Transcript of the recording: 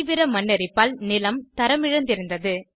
தீவிர மண் அரிப்பால் நிலம் தரம் இழந்திருந்தது